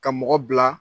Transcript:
Ka mɔgɔ bila